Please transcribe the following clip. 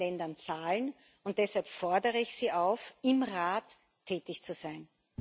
Co. in unseren Ländern zahlen, und deshalb fordere ich Sie auf, im Rat tätig zu sein.